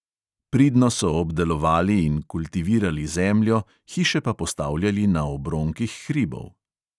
Pridno so obdelovali in kultivirali zemljo, hiše pa postavljali na obronkih hribov.